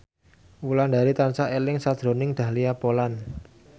Wulandari tansah eling sakjroning Dahlia Poland